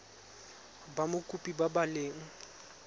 ba mokopi ba ba leng